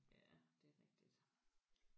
Ja det er rigtigt